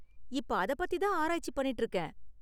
இப்ப அதைப் பத்தி தான் ஆராய்ச்சி பண்ணிட்டு இருக்கேன்.